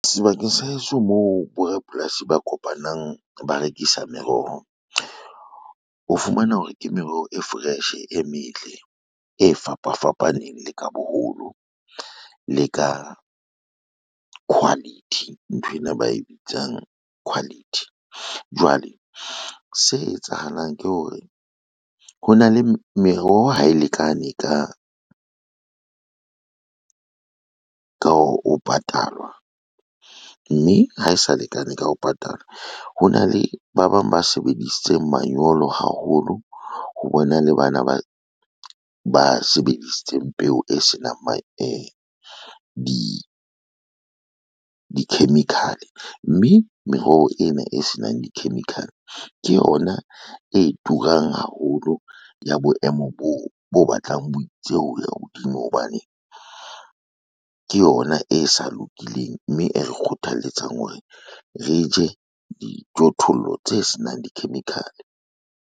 Sebakeng sa heso moo borapolasi ba kopanang ba rekisa meroho, o fumana hore ke meroho e fresh, e metle, e fapafapaneng le ka boholo le ka quality, nthwena ba e bitsang quality. Jwale se etsahalang ke hore meroho ha e lekane ka ho patalwa, mme ha e sa lekane ka ho patalwa ho na le ba bang ba sebedisitseng manyolo haholo, ho bona le bana ba sebedisitseng peo e senang di-chemical, mme meroho ena e senang di-chemical, ke yona e turang haholo ya boemo boo bo batlang bo itse ho ya hodimo hobane, ke yona e sa lokileng mme e re kgothalletsang hore re je dijothollo tse se nang di-chemical-e.